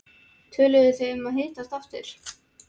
Töluðuð þið um að hittast aftur?